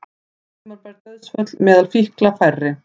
Ótímabær dauðsföll meðal fíkla færri